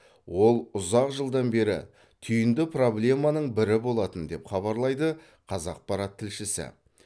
ол ұзақ жылдан бері түйінді проблеманың бірі болатын деп хабарлайды қазақпарат тілшісі